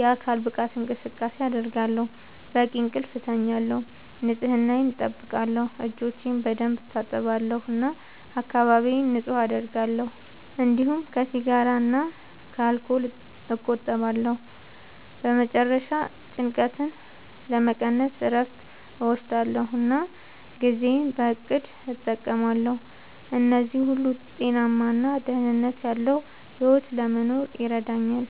የአካል ብቃት እንቅስቃሴ አደርጋለሁ፣ በቂ እንቅልፍ እተኛለሁ፣ ንጽህናየን አጠብቃለሁ (እጆቼን በደንብ እታጠባለሁ እና አካባቢዬን ንጹህ አደርጋለሁ)፤እንዲሁም ከሲጋራ እና ከአልኮል እቆጠባለሁ። በመጨረሻ ጭንቀትን ለመቀነስ እረፍት እወስዳለሁ እና ጊዜዬን በእቅድ እጠቀማለሁ። እነዚህ ሁሉ ጤናማ እና ደህንነት ያለዉ ሕይወት ለመኖር ይረዳኛል።